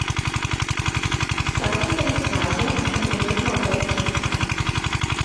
Kakor se izkaže, sem trenutno brez ficka.